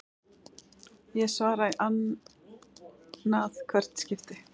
Ég svara í ann að hvert skipti.